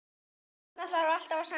Þarna þarf alltaf að semja.